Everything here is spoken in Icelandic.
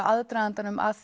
aðdragandanum að